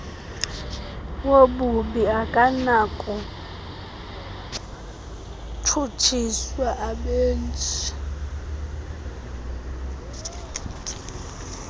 wobubi akanakutshutshiswa abenzi